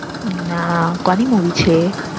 ના કોની Movie છે એ